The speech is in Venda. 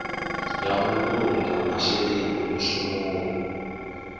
ya u vhulunga masheleni mushumoni